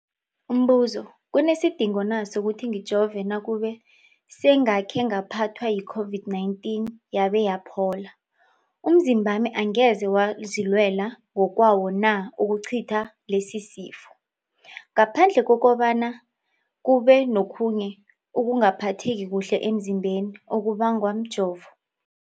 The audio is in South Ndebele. Umbuzo, kunesidingo na sokuthi ngijove nakube sengakhe ngaphathwa yi-COVID-19 yabe yaphola? Umzimbami angeze wazilwela ngokwawo na ukucitha lesisifo, ngaphandle kobana kube nokhunye ukungaphatheki kuhle emzimbeni okubangwa mjovo?